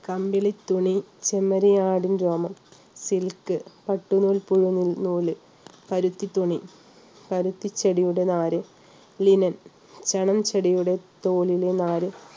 കമ്പിളി തുണി ചെമ്മരിയാടിൻ രോമം silk പട്ടുനൂൽപ്പുഴുവിൻ നൂല് പരുത്തി തുണി പരുത്തി ചെടിയുടെ നാര് linen ചണം ചെടിയുടെ തോലിലെ നാര്